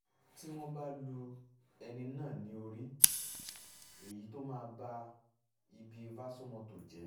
two tí wọ́n bá lu ẹni náà ní orí èyí tó máa ba ibi vasomotor jẹ́